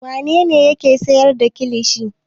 Wane ne yake sayar da kilishi?